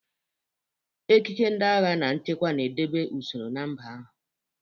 Ekike ndị agha na nchekwa na-edobe usoro na mba ahụ.